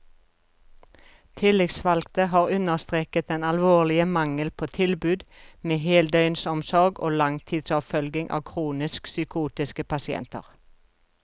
Tillitsvalgte har understreket den alvorlige mangel på tilbud med heldøgnsomsorg og langtidsoppfølging av kronisk psykotiske pasienter.